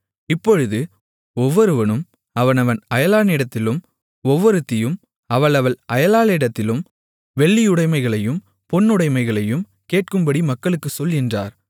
இப்பொழுது ஒவ்வொருவனும் அவனவன் அயலானிடத்திலும் ஒவ்வொருத்தியும் அவளவள் அயலாளிடத்திலும் வெள்ளியுடைமைகளையும் பொன்னுடைமைகளையும் கேட்கும்படி மக்களுக்குச் சொல் என்றார்